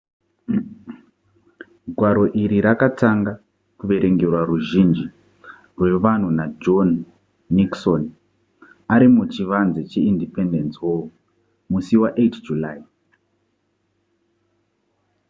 gwaro iri rakatanga kuverengerwa ruzhinji rwevanhu najohn nixon ari muchivanze cheindependence hall musi wa8 july